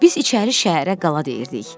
Biz içəri şəhərə qala deyirdik.